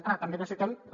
ara també necessitem la